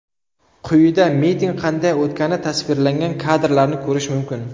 Quyida miting qanday o‘tgani tasvirlangan kadrlarni ko‘rish mumkin.